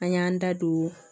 An y'an da don